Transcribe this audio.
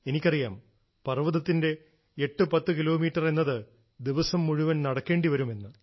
എനിക്കറിയാം പർവ്വതത്തിന്റെ 810 കിലോമീറ്റർ എന്നത് ദിവസം മുഴുവൻ നടക്കേണ്ടി വരും എന്ന്